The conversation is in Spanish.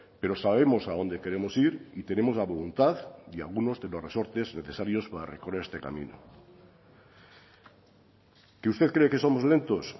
pero sabemos a dónde queremos ir y tenemos la voluntad y algunos de los resortes necesarios para recorrer este camino que usted cree que somos lentos